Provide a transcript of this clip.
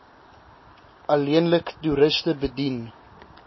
alleenlik toeriste bedien